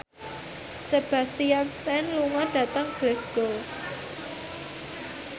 Sebastian Stan lunga dhateng Glasgow